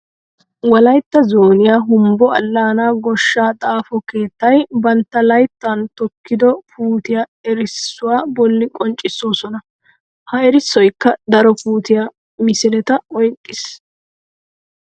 Wolaytta zooniya humbbo alaana gooshsha xaafo keettay bantta layttan tokkido puutiya erissuwa bolli qonccisoossona. Ha erissoykka daro puutiya misileta oyqqis.